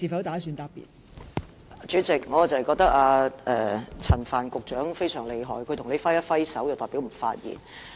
代理主席，我覺得陳帆局長非常厲害，他向你揮一揮手便代表不作發言。